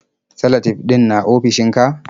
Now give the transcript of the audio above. Salatif ɗin na ofishinka?